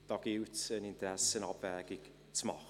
Da gilt es, eine Interessenabwägung vorzunehmen.